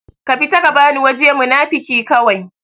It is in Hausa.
ka fita ka bani waje munafuki kawai